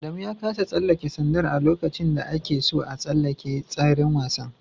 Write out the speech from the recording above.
Adamu ya kasa tsallake sandar a lokaci da akeso a tsalleke da tseren wasan